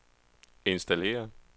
installere